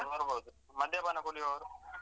ಮದ್ಯಪಾನ ಕುಡ್ಯೋರು?